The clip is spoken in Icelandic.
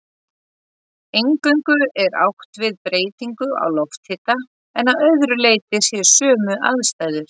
Eingöngu er átt við breytingu á lofthita en að öðru leyti séu sömu aðstæður.